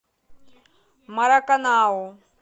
мараканау